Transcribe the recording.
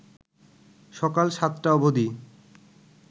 সকাল ৭টা অবধি